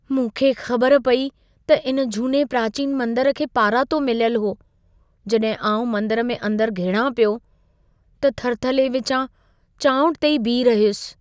मूंखे ख़बर पेई त इन झूने प्राचीन मंदर खे पारातो मिलियलु हो। जॾहिं आउं मंदर में अंदरि घिड़ां पियो, त थरथले विचां चाउंठ ते ई बीही रहियुसि।